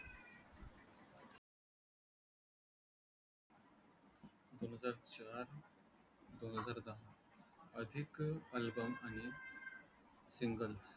दोन हजार चार दोन हजार दहा अधिक album आणि single